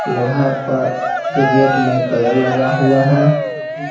लोहा पर के गेट में कलर लगा हुआ है।